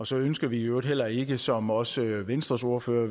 så ønsker vi i øvrigt heller ikke som også venstres ordfører